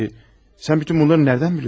Peki, sən bütün bunları nədən biliyorsun?